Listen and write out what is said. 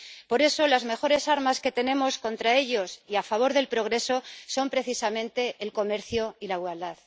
Por eso, las mejores armas que tenemos contra ellos y a favor del progreso son, precisamente, el comercio y la igualdad.